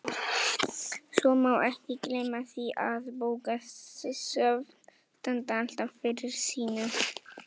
Svo má ekki gleyma því að bókasöfn standa alltaf fyrir sínu.